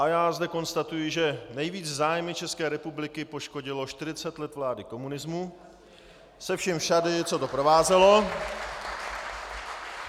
A já zde konstatuji, že nejvíc zájmy České republiky poškodilo 40 let vlády komunismu se vším všudy, co to provázelo. .